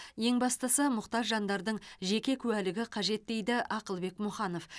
ең бастысы мұқтаж жандардың жеке куәлігі қажет дейді ақылбек мұханов